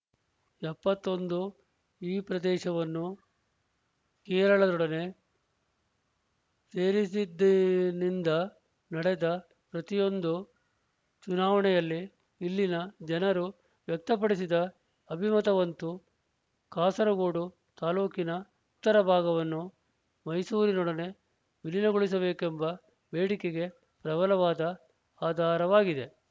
ಎಪ್ಪತ್ತ್ ಒಂದು ಈ ಪ್ರದೇಶವನ್ನು ಕೇರಳದೊಡನೆ ಸೇರಿಸಿದ್ದೆಯಿಂದ ನಡೆದ ಪ್ರತಿಯೊಂದು ಚುನಾವಣೆಯಲ್ಲಿ ಇಲ್ಲಿನ ಜನರು ವ್ಯಕ್ತಪಡಿಸಿದ ಅಭಿಮತವಂತೂ ಕಾಸರಗೋಡು ತಾಲೂಕಿನ ಉತ್ತರ ಭಾಗವನ್ನು ಮೈಸೂರಿನೊಡನೆ ವಿಲೀನಗೊಳಿಸಬೇಕೆಂಬ ಬೇಡಿಕೆಗೆ ಪ್ರಬಲವಾದ ಆಧಾರವಾಗಿದೆ